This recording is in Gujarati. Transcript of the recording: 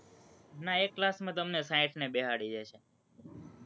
ના, એક class માં તો અમને સાઠને બેસાડી દે છે.